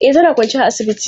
E, tana kwance a asibiti.